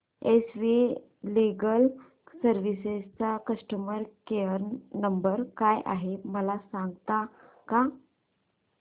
S V legal services चा customer care number काय आहे मला सांगता का